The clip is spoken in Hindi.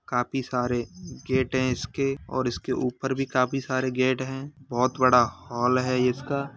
काफी सारे गेट हैं इसके और इसके ऊपर भी काफी सारे गेट हैं बहुत बड़ा हाल है इसका।